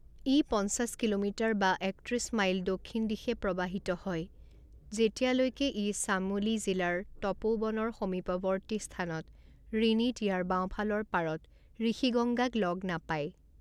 ই পঞ্চাছ কিলোমিটাৰ বা একত্ৰিছ মাইল দক্ষিণদিশে প্ৰৱাহিত হয় যেতিয়ালৈকে ই চামোলি জিলাৰ তপৌবনৰ সমীপৱৰ্তী স্থানত ৰিনিত ইয়াৰ বাওঁফালৰ পাৰত ঋষিগংগাক লগ নাপায়।